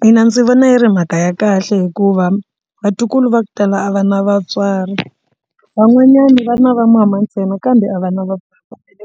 Mina ndzi vona yi ri mhaka ya kahle hikuva vatukulu va ku tala a va na vatswari van'wanyana va na vamama ntsena kambe a va na